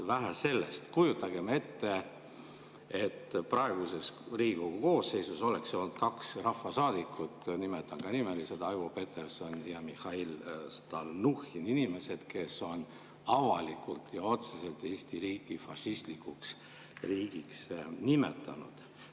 Vähe sellest, kujutagem ette, et praeguses Riigikogu koosseisus oleks olnud kaks rahvasaadikut, nimetan neid nimeliselt, Aivo Peterson ja Mihhail Stalnuhhin, inimesed, kes on avalikult ja otseselt Eesti riiki fašistlikuks riigiks nimetanud.